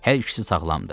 Hər ikisi sağlamdır.